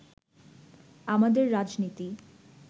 আমাদের রাজনীতি